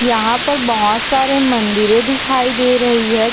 यहाँ पर बहुत सारे मंदिरे दिखाई दे रही है।